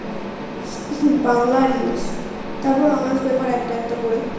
বাংলা আর english তারপর honours paper একটা একটা করে